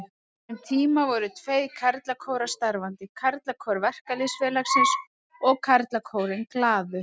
Um tíma voru tveir karlakórar starfandi, Karlakór Verkalýðsfélagsins og Karlakórinn Glaður.